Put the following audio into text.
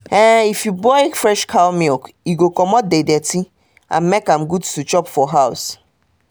if you boil fresh cow milk e go commot the dirty and make am good to chop for house um